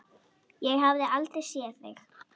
Ég hafði aldrei séð þig.